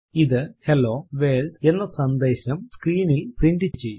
ഇത് hello world എന്ന സന്ദേശം സ്ക്രീനിൽ പ്രിന്റ് ചെയ്യും